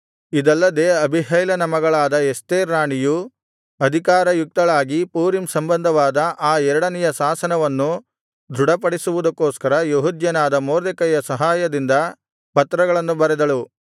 ಇದಲ್ಲದೆ ಅಬೀಹೈಲನ ಮಗಳಾದ ಎಸ್ತೇರ್ ರಾಣಿಯು ಅಧಿಕಾರಯುಕ್ತಳಾಗಿ ಪೂರೀಮ್ ಸಂಬಂಧವಾದ ಆ ಎರಡನೆಯ ಶಾಸನವನ್ನು ದೃಢಪಡಿಸುವುದಕ್ಕೋಸ್ಕರ ಯೆಹೂದ್ಯನಾದ ಮೊರ್ದೆಕೈಯ ಸಹಾಯದಿಂದ ಪತ್ರಗಳನ್ನು ಬರೆದಳು